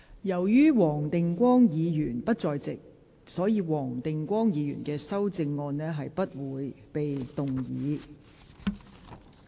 由於黃定光議員不在席，本會不會處理他的修正案。